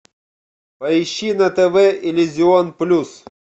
поищи на тв иллюзион плюс